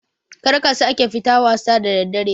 Karka sake fita wasa da daddare